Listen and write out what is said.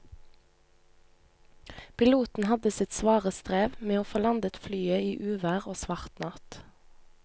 Piloten hadde sitt svare strev med å få landet flyet i uvær og svart natt.